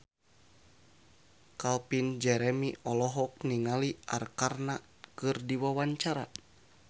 Calvin Jeremy olohok ningali Arkarna keur diwawancara